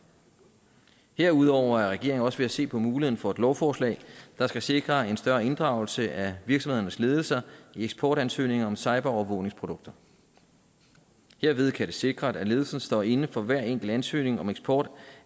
herudover er regeringen også ved at se på muligheden for et lovforslag der skal sikre en større inddragelse af virksomhedernes ledelser i eksportansøgninger om cyberovervågningsprodukter herved kan det sikres at ledelsen står inde for hver enkelt ansøgning om eksport